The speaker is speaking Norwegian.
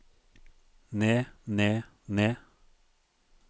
ned ned ned